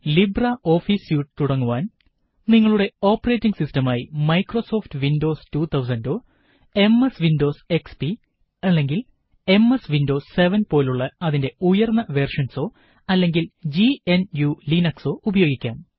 Libre office suite തുടങ്ങുവാന് നിങ്ങളുടെ operating സിസ്റ്റമായി മൈക്രോസോഫ്റ്റ് വിന്ഡോസ് 2000 ഓ എംഎസ് വിന്ഡോസ് എക്സ്പി അല്ലെങ്കില് എംഎസ് വിന്ഡോസ് 7 പോലുള്ള അതിന്റെ ഉയര്ന്ന വെര്ഷന്സോ അല്ലെങ്കില് ജിഎന്യുലിനക്സോ ഉപയോഗിക്കാം